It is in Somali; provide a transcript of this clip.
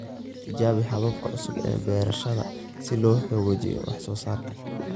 Tijaabi hababka cusub ee beerashada si loo hagaajiyo wax-soo-saarka.